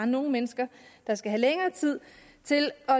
nogle mennesker der skal have længere tid til